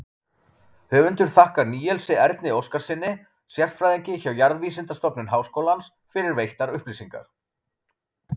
Höfundur þakkar Níelsi Erni Óskarssyni, sérfræðingi hjá Jarðvísindastofnun Háskólans, fyrir veittar upplýsingar.